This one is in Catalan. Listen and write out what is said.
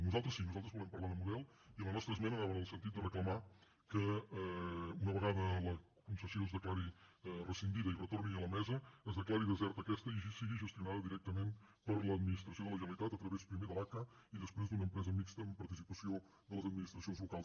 nosaltres sí nosaltres volem parlar de model i la nostra esmena anava en el sentit de reclamar que una vegada que la concessió es declari rescindida i retorni a la mesa es declari deserta aquesta i sigui gestionada directament per l’administració de la generalitat a través primer de l’aca i després d’una empresa mixta amb participació de les administracions locals